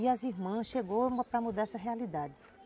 E as irmãs chegaram para mudar essa realidade.